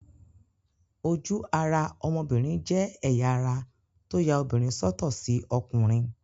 Ojú-ara ọmọbìnrin jẹ́ ẹ̀yà ara tó ya obìnrin sọ́tọ̀ sí ọkùnrin.